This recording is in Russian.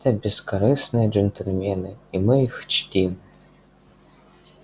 это бескорыстные джентльмены и мы их чтим